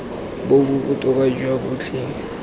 bo bo botoka jwa botlhe